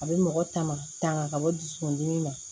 A bɛ mɔgɔ ta ma tanga ka bɔ dusukun dimi na